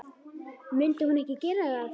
Myndi hún ekki gera það?